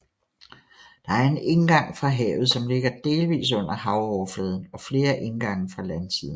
Der er en indgang fra havet som ligger delvis under havoverfladen og flere indgange fra landsiden